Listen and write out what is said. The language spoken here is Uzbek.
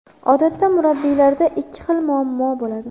Odatda murabbiylarda ikki xil muammo bo‘ladi.